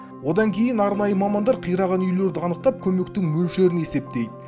одан кейін арнайы мамандар қираған үйлерді анықтап көмектің мөлшерін есептейді